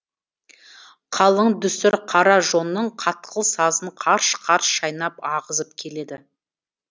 қалың дүсір қара жонның қатқыл сазын қарш қарш шайнап ағызып келеді